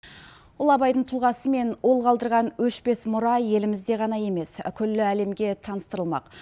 ұлы абайдың тұлғасы мен ол қалдырған өшпес мұра елімізде ғана емес күллі әлемге таныстырылмақ